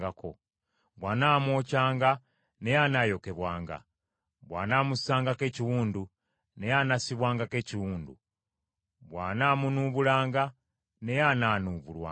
bw’anaamwokyanga, naye anaayokebwanga, bw’anaamussangako ekiwundu, naye anaassibwangako ekiwundu, bw’anaamunuubulanga, naye anaanuubulwanga.